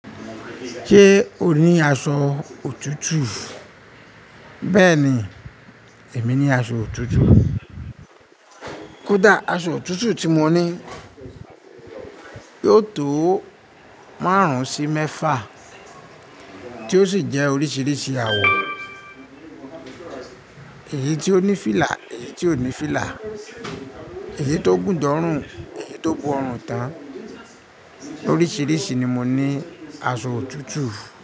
Ṣé o ní aṣọ òtútù? Bẹ́ẹ̀ni, èmi ní aṣọ òtútù. Kódà aṣọ òtútù tí mo ní yóò tó márùn-ún sí mẹ́fà tí ó sì jẹ́ oríṣiríṣi àwọ̀. Èyí tí ó ní fílà, èyí tí ò ní fílà, èyí tó gùn de ọrùn, èyí tó bu ọrùn tán. Oríṣiríṣi ni mo ní aṣọ òtútù.